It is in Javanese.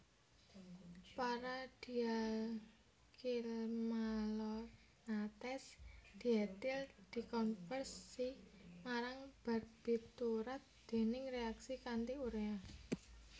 Para dialkylmalonates dietil dikonversi marang barbiturat déning reaksi kanti urea